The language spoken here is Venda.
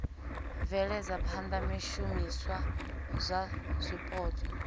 bveledza phana zwishumiswa zwa zwipotso